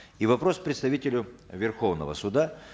и вопрос представителю верховного суда